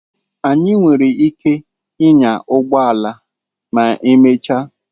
Anyị nwere ike ịnya ụgbọ ala ma emechaa.